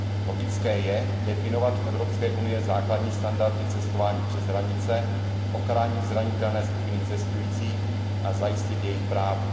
Logické je definovat v Evropské unii základní standardy cestování přes hranice, ochránit zranitelné skupiny cestujících a zajistit jejich práva.